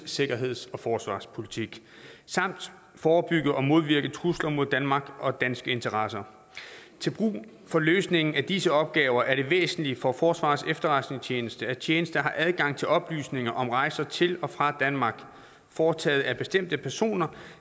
sikkerheds og forsvarspolitik samt forebygge og modvirke trusler mod danmark og danske interesser til brug for løsningen af disse opgaver er det væsentligt for forsvarets efterretningstjeneste at tjenesten har adgang til oplysninger om rejser til og fra danmark foretaget af bestemte personer